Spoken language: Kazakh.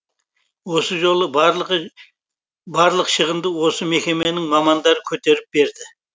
осы жолы барлық шығынды осы мекеменің мамандары көтеріп берді